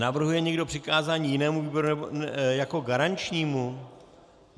Navrhuje někdo přikázání jinému výboru jako garančnímu?